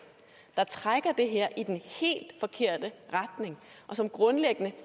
der trækker det her i den helt forkerte retning og som grundlæggende